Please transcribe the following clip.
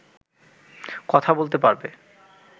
কথা বলতে পারবে